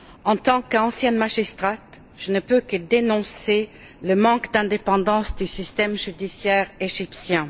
En tant qu'ancienne magistrate, je ne peux que dénoncer le manque d'indépendance du système judicaire égyptien.